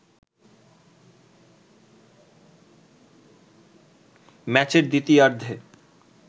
ম্যাচের দ্বিতীয়ার্ধে